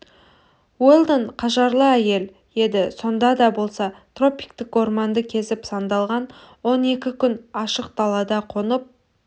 уэлдон қажырлы әйел еді сонда да болса тропиктік орманды кезіп сандалған он екі күн ашық далада қонып